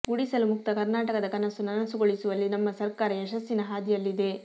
ಗುಡಿಸಲು ಮುಕ್ತ ಕರ್ನಾಟಕದ ಕನಸು ನನಸುಗೊಳಿಸುವಲ್ಲಿ ನಮ್ಮ ಸರ್ಕಾರ ಯಶಸ್ಸಿನ ಹಾದಿಯಲ್ಲಿದೆ